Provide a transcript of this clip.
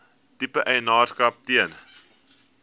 tipe eienaarskap ten